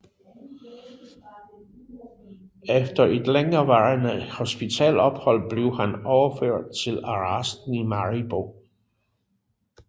Efter et længerevarende hospitalsophold blev han overført til arresten i Maribo